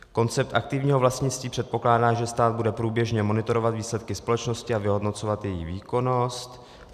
Koncept aktivního vlastnictví předpokládá, že stát bude průběžně monitorovat výsledky společnosti a vyhodnocovat jejich výkonnost.